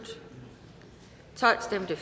for stemte